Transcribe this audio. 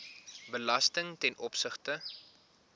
belasting ten opsigte